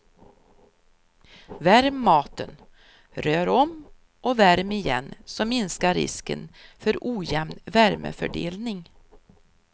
Värm maten, rör om och värm igen så minskar risken för ojämn värmefördelning.